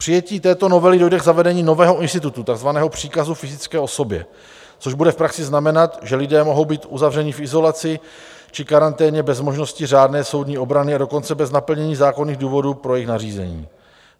Přijetím této novely dojde k zavedení nového institutu, takzvaného příkazu fyzické osobě, což bude v praxi znamenat, že lidé mohou být uzavřeni v izolaci či karanténě bez možnosti řádné soudní obrany, a dokonce bez naplnění zákonných důvodů pro jejich nařízení.